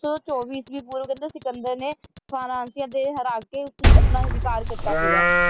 ਚੌਵੀ ਇਸਵੀਂ ਪੂਰਵ ਕਹਿੰਦੇ ਸਿਕੰਦਰ ਨੇ ਫ੍ਰਾਂਸਿਆਂ ਦੇ ਕੇ ਉਸਤੇ ਆਪਣਾ ਅਧਿਕਾਰ ਕੀਤਾ ਸੀਗਾ